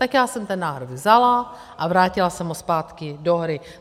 Tak já jsem ten návrh vzala a vrátila jsem ho zpátky do hry.